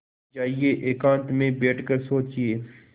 जाइए एकांत में बैठ कर सोचिए